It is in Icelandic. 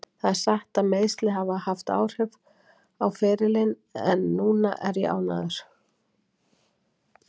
Það er satt að meiðsli hafa haft áhrif á ferilinn en núna er ég ánægður.